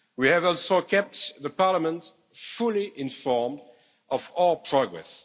We have also kept the Parliament fully informed of all progress.